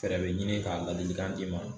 Fɛɛrɛ bɛ ɲini k'a ladilikan d'i ma.